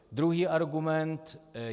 Druhý argument.